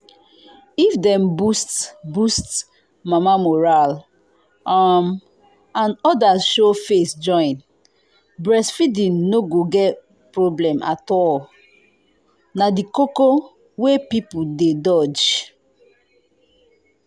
if dem boost boost mama morale um and others show face join breastfeeding no go be problem at all. na the koko wey people dey dodge.